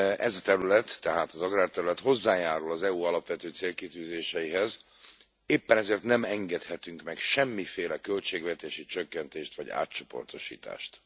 Ez a terület, tehát az agrárterület hozzájárul az EU alapvető célkitűzéseihez, éppen ezért nem engedhetünk meg semmiféle költségvetési csökkentést vagy átcsoportosítást.